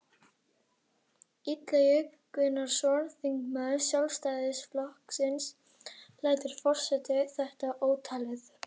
Illugi Gunnarsson, þingmaður Sjálfstæðisflokksins: Lætur forseti þetta óátalið?